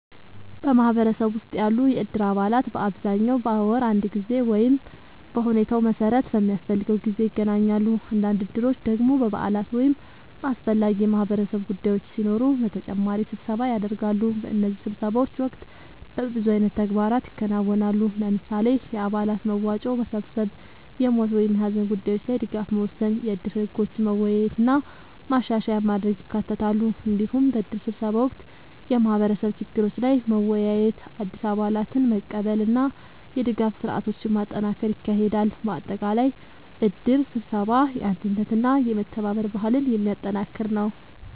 በማህበረሰብ ውስጥ ያሉ የእድር አባላት በአብዛኛው በወር አንድ ጊዜ ወይም በሁኔታው መሠረት በሚያስፈልገው ጊዜ ይገናኛሉ። አንዳንድ እድሮች ደግሞ በበዓላት ወይም በአስፈላጊ የማህበረሰብ ጉዳዮች ሲኖሩ በተጨማሪ ስብሰባ ያደርጋሉ። በእነዚህ ስብሰባዎች ወቅት በብዙ አይነት ተግባራት ይከናወናሉ። ለምሳሌ፣ የአባላት መዋጮ መሰብሰብ፣ የሞት ወይም የሀዘን ጉዳዮች ላይ ድጋፍ መወሰን፣ የእድር ህጎችን መወያየት እና ማሻሻያ ማድረግ ይካተታሉ። እንዲሁም በእድር ስብሰባ ወቅት የማህበረሰብ ችግሮች ላይ መወያየት፣ አዲስ አባላትን መቀበል እና የድጋፍ ስርዓቶችን ማጠናከር ይካሄዳል። በአጠቃላይ እድር ስብሰባ የአንድነትና የመተባበር ባህልን የሚያጠናክር ነው።